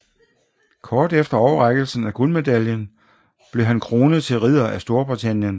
Kort efter overrækkelsen af guldmedaljen blev han kronet til ridder af Storbritannien